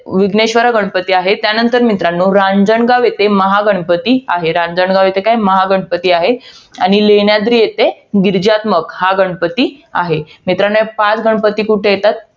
विघ्नेश्वर हे गणपती आहे. त्यानंतर मित्रांनो, रांजणगाव येथे, महागणपती आहे. रांजणगाव येथे काय आहे? महागणपती आहे. आणि लेण्याद्री येथे गीरीजात्न्म्क हा गणपती आहे. मित्रांनो, ह पाच गणपती कुठे येतात? मित्रांनो हे पाच गणपती कुठे येतात?